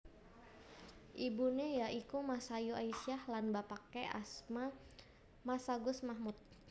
Ibuné ya iku Masayu Aisyah lan bapaké asma Masagus Mahmud